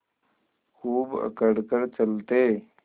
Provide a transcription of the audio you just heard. खूब अकड़ कर चलते